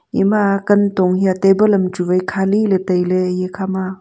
ema kantong hiya table am chu wai khali ley tailey eye khama.